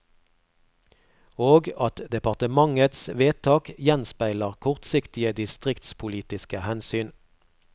Og at departementets vedtak gjenspeiler kortsiktige distriktspolitiske hensyn.